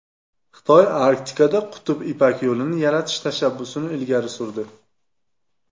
Xitoy Arktikada Qutb Ipak yo‘lini yaratish tashabbusini ilgari surdi.